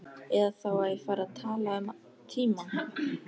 Eða þá að ég færi að tala um tímann.